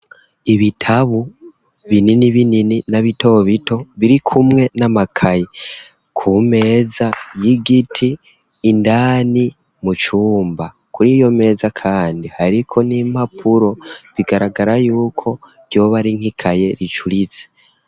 Ibitabu binini binini, na bito bito, biri kumwe n'amakaye, ku meza y'igiti, indani mu cumba; kuri iyo meza kandi, hariko n'impapuro, bigaragara y'uko ryoba ari nk'ikaye ricuritse.